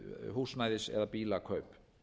húsnæðis eða bílakaup